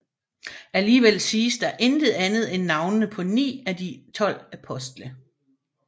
Alligevel siges der intet andet end navnene på ni af de tolv apostle